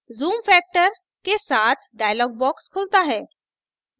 zoom factor % के साथ dialog box खुलता है